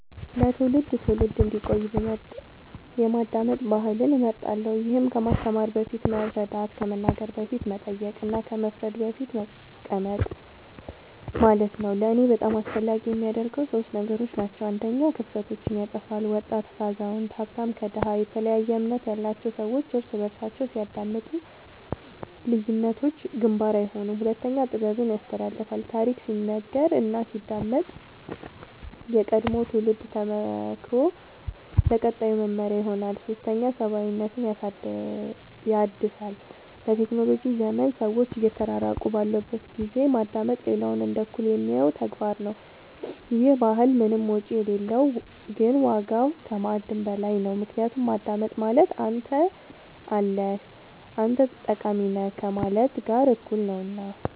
ለትውልድ ትውልድ እንዲቆይ ብመርጥ የማዳመጥ ባህልን እመርጣለሁ ይህም ከማስተማር በፊት መረዳት ከመናገር በፊት መጠየቅ እና ከመፍረድ በፊት መቀመጥ ማለት ነው ለእኔ በጣም አስፈላጊ የሚያደርገው ሶስት ነገሮች ናቸው አንደኛ ክፍተቶችን ያጥፋል ወጣት ከአዛውንት ሀብታም ከድሃ የተለያየ እምነት ያላቸው ሰዎች እርስ በርሳቸው ሲያዳምጡ ልዩነቶች ግንባር አይሆኑም ሁለተኛ ጥበብን ያስተላልፋል ታሪክ ሲነገር እና ሲዳመጥ የቀድሞው ትውልድ ተሞክሮ ለቀጣዩ መመሪያ ይሆናል ሶስተኛ ሰብአዊነትን ያድሳል በቴክኖሎጂ ዘመን ሰዎች እየተራራቁ ባሉበት ጊዜ ማዳመጥ ሌላውን እንደ እኩል የሚያየው ተግባር ነው ይህ ባህል ምንም ወጪ የሌለው ግን ዋጋው ከማዕድን በላይ ነው ምክንያቱም ማዳመጥ ማለት አንተ አለህ አንተ ጠቃሚ ነህ ከማለት ጋር እኩል ነውና